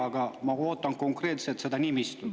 Aga ma ootan konkreetselt seda nimistut.